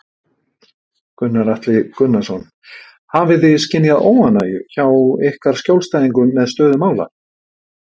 Gunnar Atli Gunnarsson: Hafið þið skynjað óánægju hjá ykkar skjólstæðingum með stöðu mála?